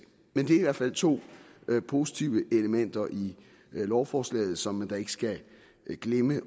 men det er fald to positive elementer i lovforslaget som man da ikke skal glemme